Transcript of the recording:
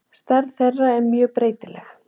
Stærð þeirra er mjög breytileg.